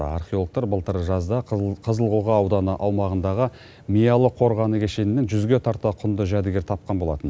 археологтар былтыр жазда қызыл қоға аумағындағы миялы қорғаны кешенінен жүзге тарта құнды жәдігер тапқан болатын